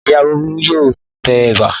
Ìyá Bólú yóò tẹ ẹ̀bà.